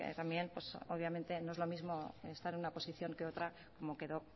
también obviamente no es lo mismo estar en una posición que otra como quedó